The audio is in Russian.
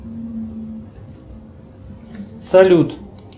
салют